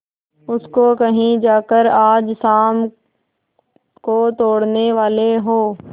उसको कहीं जाकर आज शाम को तोड़ने वाले हों